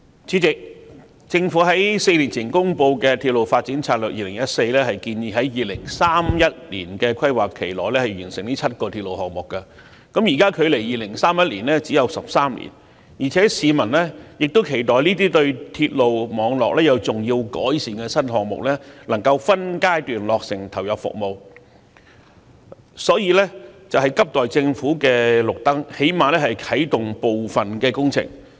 主席，政府於4年前公布的《策略》建議在直至2031年的規劃期內完成7個新鐵路項目，現時距2031年只有13年，加上市民亦期待這些能對鐵路網絡作出重要改善的新項目可分階段落成及投入服務，因此急需政府"開綠燈"，最低限度啟動部分工程。